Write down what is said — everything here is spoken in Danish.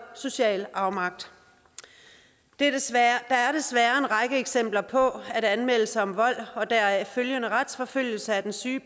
social afmagt der er desværre en række eksempler på at anmeldelse om vold og deraf følgende retsforfølgelse af den syge